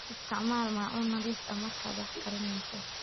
Isticmaal maacuun nadiif ah markaad wax karinayso.